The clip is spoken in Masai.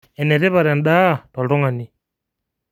Enetipat endaa toltung'ani